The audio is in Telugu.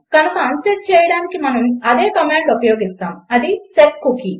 కనుక అన్సెట్ చేయడానికి మనము అదే కమాండ్ ఉపయోగిస్తాము అది సెట్కూకీ